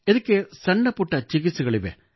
ಇದಕ್ಕೆ ಸಣ್ಣ ಪುಟ್ಟ ಚಿಕಿತ್ಸೆಗಳಿವೆ